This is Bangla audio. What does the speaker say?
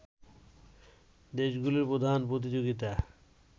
দেশগুলোর প্রধান প্রতিযোগিতা